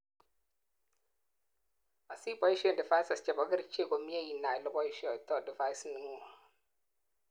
asiboishen devices chebo kerichek komie inai oleboishoitoi device ingung